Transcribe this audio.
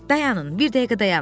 Dayanın, bir dəqiqə dayanın.